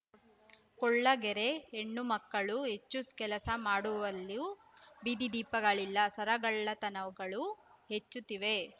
ಕೊಳಗೇರಿ ಹೆಣ್ಣು ಮಕ್ಕಳು ಹೆಚ್ಚು ಕೆಲಸ ಮಾಡುವಲ್ಲೂ ಬೀದಿದೀಪಗಳಿಲ್ಲ ಸರಗಳ್ಳತನ ಗಳೂ ಹೆಚ್ಚುತ್ತಿವೆ